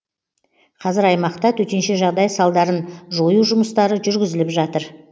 қазір аймақта төтенше жағдай салдарын жою жұмыстары жүргізіліп жатыр